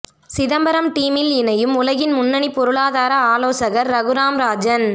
சிதம்பரம் டீமில் இணையும் உலகின் முன்னணி பொருளாதார ஆலோசகர் ரகுராம் ராஜன்